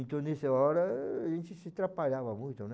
Então, nessa hora, a gente se atrapalhava muito, né?